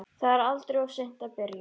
Það er aldrei of seint að byrja.